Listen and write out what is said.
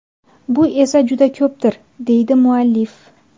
Bu esa juda ko‘pdir, deydi muallif.